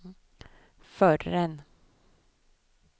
förrän